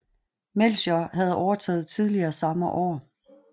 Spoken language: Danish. Melchior havde overtaget tidligere samme år